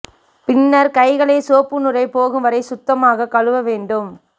பின்னர் கைகளை சோப்பு நுரை போகும் வரை சுத்தமாக கழுவ வேண்டும்